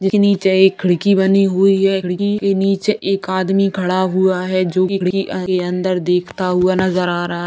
जो कि नीचे एक खिड़की बनी हुई है खिड़की के नीचे एक आदमी खड़ा हुआ है जो कि खिड़की के अंदर देखता हुआ नजर आ रहा है।